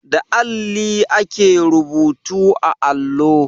Da alli ake rubutu a allo.